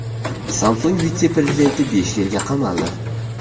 Samsung vitse-prezidenti besh yilga qamaldi.